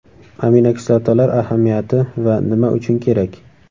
Aminokislotalar ahamiyati va nima uchun kerak?.